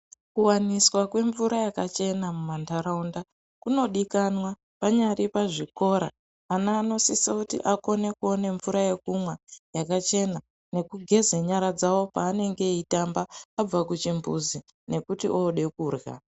Kuwaniswa kwemvura yakachena mumantaraunda kunodikanwa panyari pazvikora, ana anosisa kuti akone kuona mvura yekumwa yakachena nekugeze nyara dzavo pevanenge veitamba, vabve kuchimbuzi nekuti ode kurya.